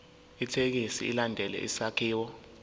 ithekisthi ilandele isakhiwo